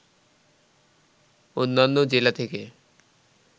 অন্যান্য জেলা থেকে